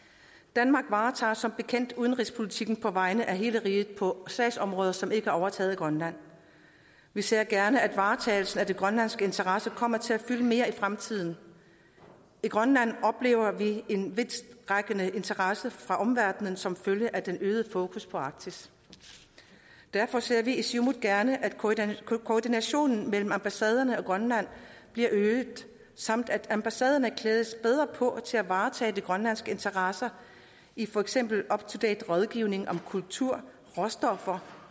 danmark varetager som bekendt udenrigspolitikken på vegne af hele riget på sagsområder som ikke er overtaget af grønland vi ser gerne at varetagelsen af de grønlandske interesser kommer til at fylde mere i fremtiden i grønland oplever vi en vidtrækkende interesse fra omverdenen som følge af den øgede fokus på arktis derfor ser vi i siumut gerne at koordinationen mellem ambassaderne og grønland bliver øget samt at ambassaderne klædes bedre på til at varetage de grønlandske interesser i for eksempel up to date rådgivning om kultur råstoffer